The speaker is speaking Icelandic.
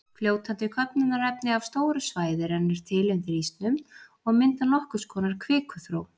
Fljótandi köfnunarefni af stóru svæði rennur til undir ísnum og mynda nokkurs konar kvikuþró.